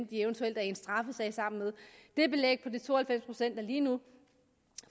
de eventuelt er i en straffesag sammen med den belægning på de to og halvfems procent er lige nu